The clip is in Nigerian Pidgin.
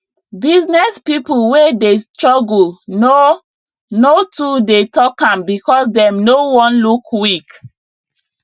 business people wey dey struggle no no too dey talk am because dem no wan look weak